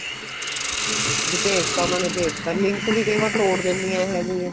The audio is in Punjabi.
ਵੀ ਭੇਜਦਾ ਉਹਨਾ ਨੇ ਭੇਜਦਾ link ਵੀ ਕਈ ਵਾਰ ਤੋੜ ਦਿੰਨੀਆਂ ਇਹ ਜੀਆ